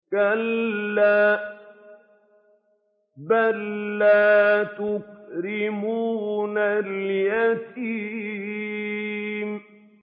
كَلَّا ۖ بَل لَّا تُكْرِمُونَ الْيَتِيمَ